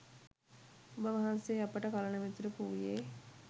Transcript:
ඔබ වහන්සේ .අපට කලණ මිතුරෙකු වූයේ